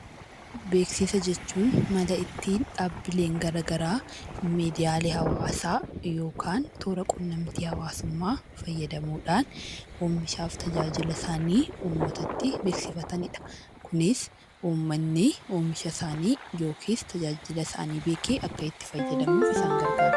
Beeksisa jechuun mala ittiin dhaabbileen gara garaa miidiyaalee hawaasaa yookaan toora qunnamtii hawaasummaa fayyadamuudhaan oomishaa fi tajaajila isaanii uummatatti beeksifatanidha. Kunis uummatni oomisha isaanii yookiis tajaajila isaanii beekee akka itti fayyadamuuf isaan garagaara.